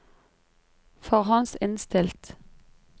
forhåndsinnstilt